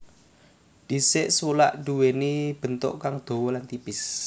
Dhisik sulak nduwéni bentuk kang dawa lan tipis